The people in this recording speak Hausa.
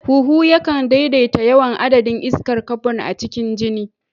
Huhu yakan daidaita yawan adadin iskar kabon a cikin jini.